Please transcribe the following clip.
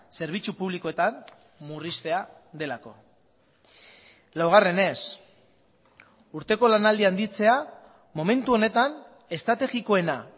zerbitzu publikoetan murriztea delako laugarrenez urteko lanaldia handitzea momentu honetan estrategikoena